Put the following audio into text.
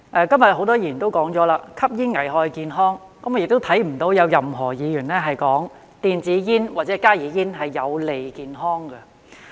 今天很多議員也指出，吸煙危害健康，我也聽不到有任何一位議員說，電子煙或加熱煙是有利健康的。